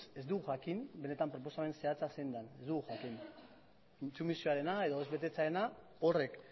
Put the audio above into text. jakin benetan proposamen zehatza zein den ez dugu jakin intsumisioarena edo ez betetzearena horrek